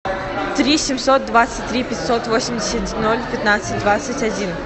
три семьсот двадцать три пятьсот восемьдесят ноль пятнадцать двадцать один